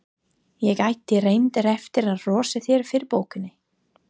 Ég átti reyndar eftir að hrósa þér fyrir bókina.